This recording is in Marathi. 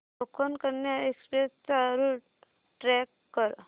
कोकण कन्या एक्सप्रेस चा रूट ट्रॅक कर